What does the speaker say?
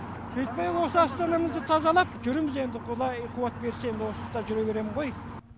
сөйтпей осы астанамызды тазалап жүрміз енді құдай қуат берсе осында жүре берем ғой